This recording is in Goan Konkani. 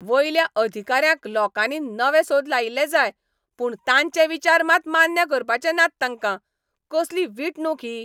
वयल्या अधिकाऱ्यांक लोकांनी नवे सोद लायिल्ले जाय पूण तांचे विचार मात मान्य करपाचे नात तांकां. कसली विटणूक ही!